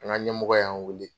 An ka ɲɛmɔgɔ y'an weele.